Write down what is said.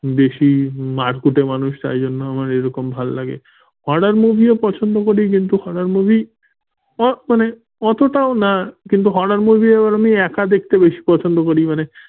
বেশি মারকুটে মানুষ তাই জন্য আমার এরকম ভালো লাগে horror movie ও পছন্দ করি আ মানে অতটাও না কিন্তু horror movie আবার আমি একা দেখতে বেশি পছন্দ করি। মানে